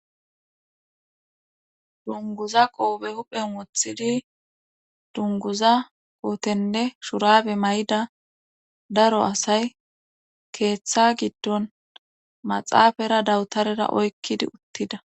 dunguza qoobe huphen wothidi dunguza kootenne shurabe may7ida daro asay keeththa giddon maxaafara dawutarera oykkidi uttida